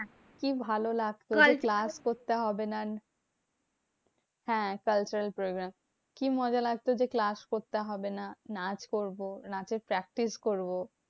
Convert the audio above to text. কি ভালো লাগতো? যে class করতে হবে না। হ্যাঁ cultural programme. কি মজা লাগতো? যে class করতে হবে না। নাচ করবো নাচের practice করবো।